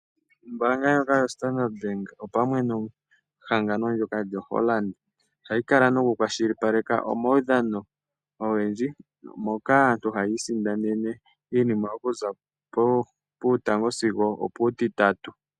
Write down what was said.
Ombanga ndjoka yoStandard Bank opamwe nehagano ndjoka lyoHollard oya yi kala noku kwashilipaleke omaudhano ogendji. Moka aantu hayi isindanena iinima oku za puutango sigo oputitatu.